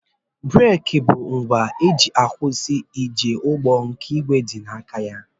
Breeki bụ ngwa e ji akwụsị njemụgbọ nke ìgwè dị n'aka ya